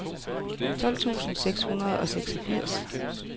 tolv tusind seks hundrede og seksogfirs